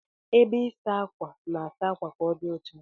Ebe ịsa ákwà na-asa akwa ka odi ọcha.